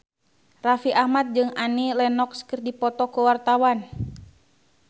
Raffi Ahmad jeung Annie Lenox keur dipoto ku wartawan